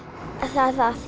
það